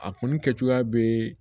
A kun kɛ cogoya bɛ